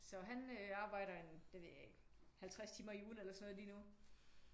Så han arbejder en det ved jeg ikke 50 timer i ugen eller sådan noget lige nu